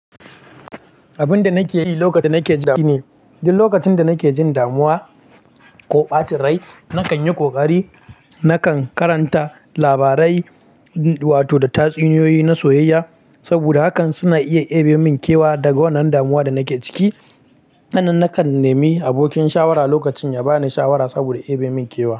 Abin da nake yi lokacin da nake ji ɓacin rai shine. Duk lokacin da nake jin damuwa ko ɓacin rai, na kan yi ƙoƙari na kan karanta labarai wato da tatsuniyoyi na soyayya, saboda hakan suna iya deɓe min kewa daga wannan damuwa da nake ciki. Sannan na kan nemi abokin shawara lokacin ya ba ni shawara saboda deɓe min kewa.